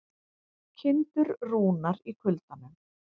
Kindur rúnar í kuldanum